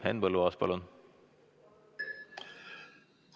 Henn Põlluaas, palun!